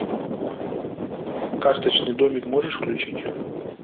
карточный домик можешь включить